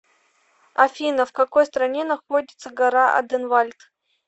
афина в какой стране находится гора оденвальд